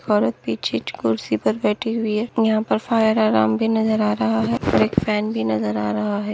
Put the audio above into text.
औरत पीछे कुर्सी पर बैठी हुई है यहा पर फायर अलार्म भी नजर आ रहा है और एक फॅन भी नजर आ रहा हैं।